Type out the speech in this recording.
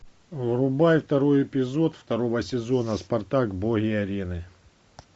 врубай второй эпизод второго сезона спартак боги арены